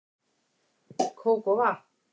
Kók og vatn